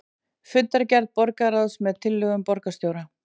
Fundargerð borgarráðs með tillögum borgarstjóra